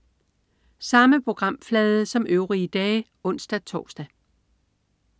Samme programflade som øvrige dage (ons-tors)